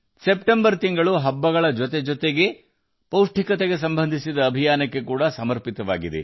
September ತಿಂಗಳನ್ನು ಹಬ್ಬಗಳಿಗೆ ಮೀಸಲಿಡಲಾಗಿದೆ ಮತ್ತು ಪೋಷಣೆಗೆ ಸಂಬಂಧಿಸಿದ ದೊಡ್ಡ ಅಭಿಯಾನವನ್ನು ಹೊಂದಿದೆ